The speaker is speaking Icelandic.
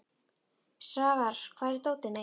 Svafar, hvar er dótið mitt?